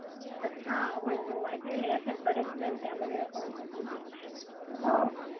अच्छा, हो हो ऐकलेले आहे अश्याच बर्याच बँकामध्ये अकाउंट ओपन करत आहे